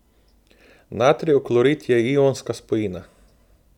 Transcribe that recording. Natrijev klorid je ionska spojina.